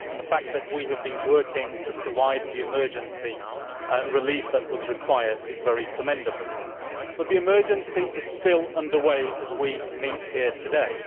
The fact that we have been working to provide the emergency relief required is very commendable. However, the emergency is still under way as we meet here today.